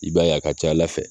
I b'a y'a ka ca Ala fɛ.